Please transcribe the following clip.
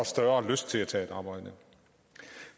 større lyst til at tage et arbejde